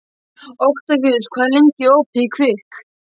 Oktavíus, hvað er lengi opið í Kvikk?